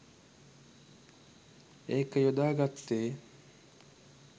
ඒක යොදාගත්තේ.